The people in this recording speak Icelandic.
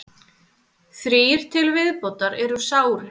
Þrír til viðbótar eru sárir